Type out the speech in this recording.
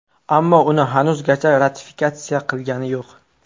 Ammo uni hanuzgacha ratifikatsiya qilgani yo‘q.